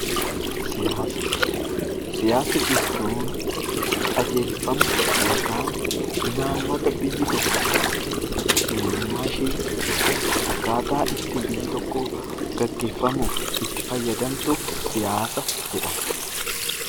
Siyaasa, siyaasa jechuun qajeelfama yookaan imaammata biyyi tokko eenyummaa ishee yookiis akkaataa ittiin biyyi tokko geggeeffamuuf itti fayyadamtu siyaasa jedhama.